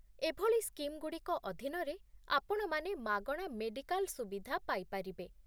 ଏଭଳି ସ୍କିମ୍‌ଗୁଡ଼ିକ ଅଧୀନରେ, ଆପଣମାନେ ମାଗଣା ମେଡ଼ିକାଲ ସୁବିଧା ପାଇପାରିବେ